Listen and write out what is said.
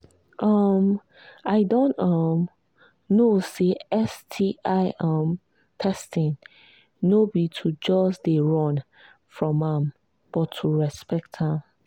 um i don um know say sti um testing no be to just they run from am but to respect am